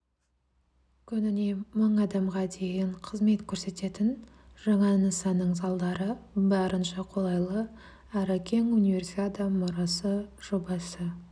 күніне мың адамға дейін қызмет көрсететін жаңа нысанның залдары барынша қолайлы әрі кең универсиада мұрасы жобасы